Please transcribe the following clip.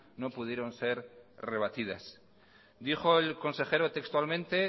no pudieron ser rebatidas dijo el consejero textualmente